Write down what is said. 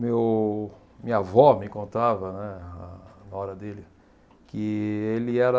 Meu, minha avó me contava, né, a nora dele, que ele era